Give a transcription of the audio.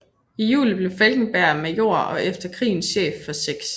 I juli blev Falkenberg major og efter krigen chef for 6